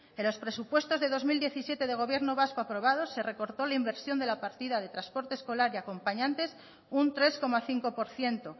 en los presupuestos de dos mil diecisiete de gobierno vasco aprobados se recortó la inversión de la partida de transporte escolar y acompañantes un tres coma cinco por ciento